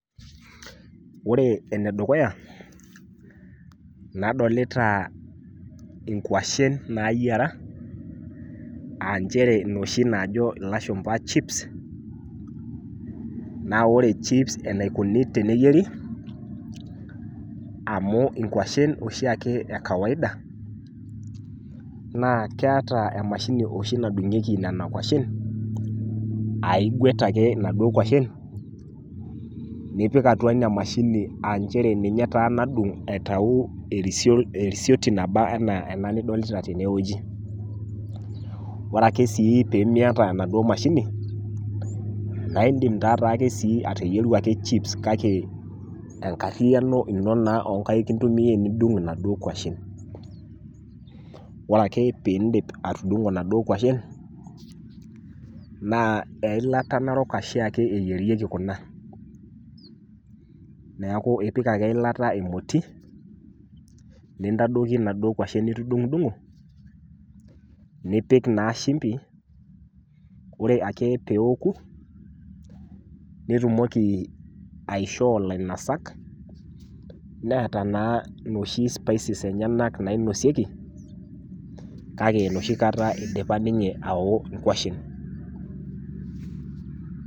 Oore enedukuya, nadolita inkwashen nayiara, aah inchere inoshi naajo ilashumba chips, naa oore chips eneikoni teneyieri, amuu inkuashen oshiake e kawaida naa keeta emashini ooshi nadung'ieki nena kwashen, aah igwet aake inaduo kwashen nipik atua ina mashini aah inchere ninye taa nadung aitu erisioti naaba enaa ena nidolita teene wueji. Oore ake sii peyie miata enaduo mashini, naa iidim taa toi aake sii ateyieru aake chips kake enkariyiano iino naa onkaik intumia adung inaduo kwashen. Oore aake peyie iidip atudung'o inaduoo kwashen, naa eilata narok oshiake eyierieki kuna. Niaku iipik aake eilata emoti, nintadoiki inaduo kwashen nitudung'udung'o, nipik naa shimpi ,oore aake pee eoku nitumoki aishoo ilainosak neeta naa inosi[sc]spices naiosieki kake enoshi kata eidipa ninye aao inkwashen.